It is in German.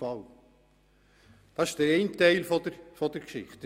Das ist der eine Teil der Geschichte.